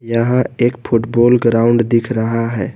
यहाँ एक football ground दिख रहा है।